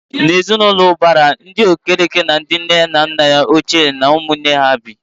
N'ezi na ụlọ ụbara, ndị Okereke na ndị nne na nna ochie na ụmụ nwanne ha bi.